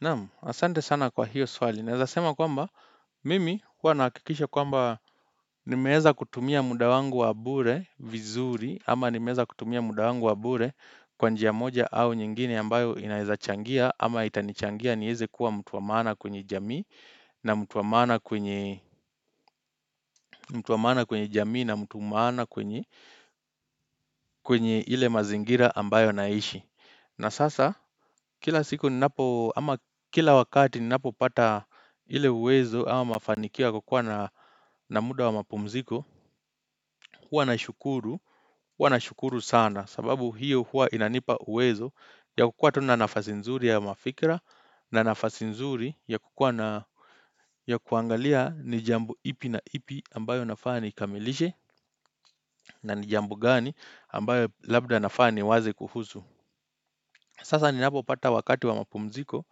Naam, asante sana kwa hiyo swali. Naeza sema kwamba, mimi huwa nahakikisha kwamba nimeeza kutumia muda wangu wa bure vizuri, ama nimeeza kutumia muda wangu wa bure kwa njia moja au nyingine ambayo inaeza changia, ama itanichangia nieze kuwa mtu wa maana kwenye jamii na mtu wa maana kwenye jamii na mtu maana kwenye kwenye ile mazingira ambayo naishi. Na sasa, kila siku ninapo, ama kila wakati ninapopata ile uwezo, ama mafanikio ya kukua na muda wa mapumziko, huwa nashukuru, huwa nashukuru sana, sababu hiyo huwa inanipa uwezo, ya kukuwa tu na nafasi nzuri ya mafikira, na nafasi nzuri ya kukuwa na ya kuangalia ni jambo ipi na ipi ambayo nafaa nikamilishe, na ni jambo gani ambayo labda nafaa niwaze kuhusu. Sasa ninapopata wakati wa mapumziko,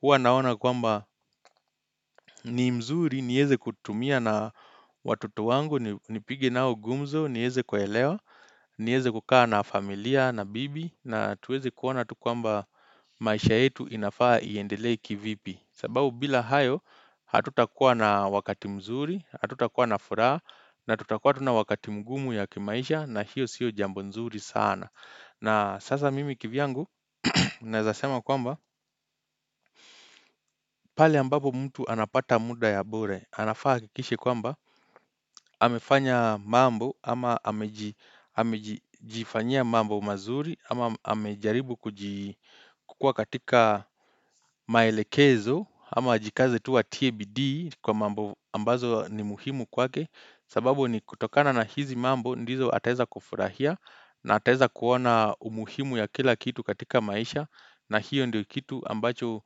huwa naona kwamba ni mzuri, nieze kutumia na watoto wangu, nipige nao gumzo, nieze kuwaelewa, nieze kukaa na familia, na bibi, na tuweze kuona tu kwamba maisha yetu inafaa iendelee kivipi. Sababu bila hayo, hatutakuwa na wakati mzuri, hatutakuwa na furaha, na tutakuwa tu na wakati mgumu ya kimaisha, na hiyo sio jambo nzuri sana. Na sasa mimi kivyangu, naeza sema kwamba pahali ambapo mtu anapata muda ya bure, anafaa ahakikishe kwamba amefanya mambo ama amejifanyia mambo mazuri ama amejaribu kukua katika maelekezo ama ajikaze tu atie bidii kwa mambo ambazo ni muhimu kwake sababu ni kutokana na hizi mambo ndizo ataeza kufurahia na ataeza kuona umuhimu ya kila kitu katika maisha na hiyo ndiyo kitu ambacho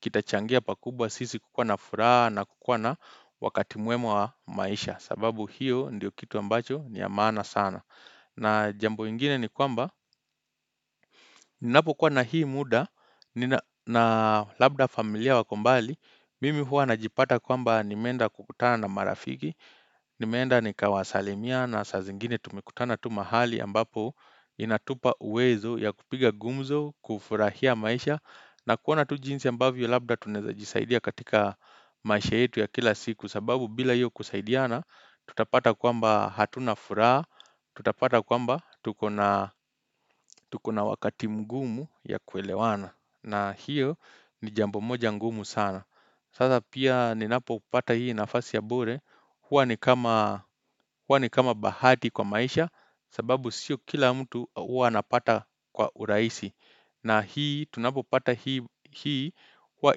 kitachangia pakubwa sisi kukuwa na furaha na kukuwa na wakati mwema wa maisha sababu hiyo ndiyo kitu ambacho ni ya maana sana na jambo ingine ni kwamba Ninapokuwa na hii muda na labda familia wako mbali Mimi huwa najipata kwamba nimeenda kukutana na marafiki nimeenda nikawasalimia na saa zingine tumekutana tu mahali ambapo Inatupa uwezo ya kupiga gumzo kufurahia maisha na kuona tu jinsi ambavyo labda tunaeza jisaidia katika maisha yetu ya kila siku sababu bila hio kusaidiana tutapata kwamba hatuna furaha tutapata kwamba tuko na wakati mgumu ya kuelewana na hiyo ni jambo moja mgumu sana sasa pia ninapopata hii nafasi ya bure huwa ni kama huwa ni kama bahati kwa maisha sababu sio kila mtu huwa anapata kwa urahisi na hii tunapopata hii huwa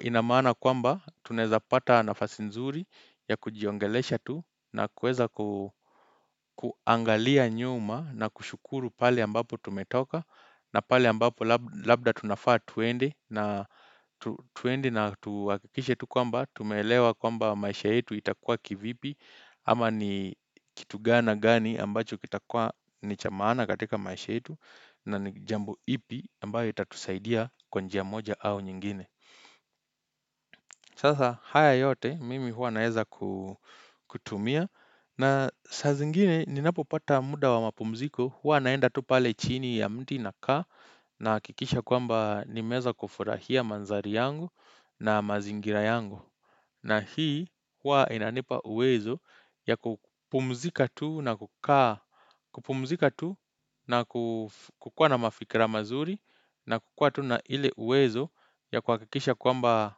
ina maana kwamba tunaeza pata nafasi nzuri ya kujiongelesha tu na kuweza kuangalia nyuma na kushukuru pahali ambapo tumetoka na pahali ambapo labda tunafaa tuende na tuhakikishe tu kwamba tumeelewa kwamba maisha yetu itakua kivipi ama ni kitu gani na gani ambacho kitakuwa ni cha maana katika maisha yetu na ni jambo ipi ambayo itatusaidia. Kwa njia moja au nyingine. Sasa haya yote mimi huwa naeza kutumia. Na saa zingine ninapopata muda wa mapumziko hua naenda tu pale chini ya mti nakaa. Nahakikisha kwamba nimeeza kufurahia manthari yangu na mazingira yangu. Na hii hua inanipa uwezo ya kupumzika tu na kukuwa na mafikira mazuri. Na kukuwa tu na ile uwezo ya kuhakikisha kwamba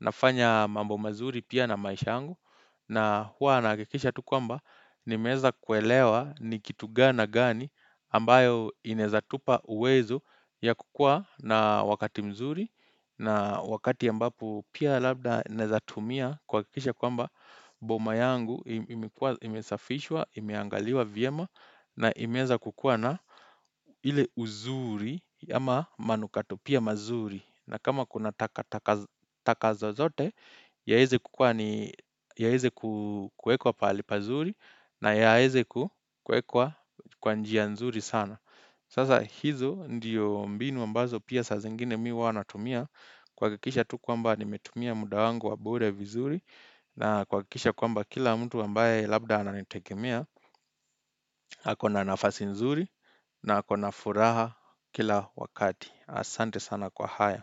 nafanya mambo mazuri pia na maisha yangu na huwa nahakikisha tu kwamba nimeeza kuelewa ni kitu gani na gani ambayo inaeza tupa uwezo ya kukuwa na wakati mzuri na wakati ambapo pia labda inaeza tumia kuhakikisha kwamba boma yangu imesafishwa, imeangaliwa vyema na imeanza kukua na ile uzuri ama manukato pia mazuri na kama kuna takataka taka zozote Yaeze kukuwa ni yaeze kuekwa pahali pazuri na yaeze kuekwa kwa njia nzuri sana Sasa hizo ndiyo mbinu ambazo pia saa zingine mimi huwa natumia kuhakikisha tu kwamba nimetumia muda wangu wa bure vizuri na kuhakikisha kwamba kila mtu ambaye labda ananitegemia ako na nafasi nzuri na ako na furaha kila wakati. Asante sana kwa haya.